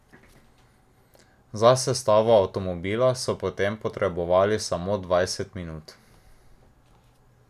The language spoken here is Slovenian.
Za sestavo avtomobila so potem potrebovali samo dvajset minut.